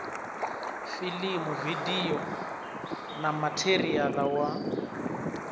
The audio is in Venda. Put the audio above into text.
filimu vidio na matheriala wa